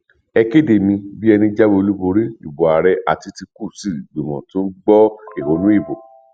ẹ kéde mi bí ẹni jáwé olúborí ìbò ààrẹ àtikukù sí ìgbìmọ tó ń gbọ ẹhónú ìbò